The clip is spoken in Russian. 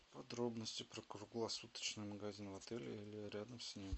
подробности про круглосуточный магазин в отеле или рядом с ним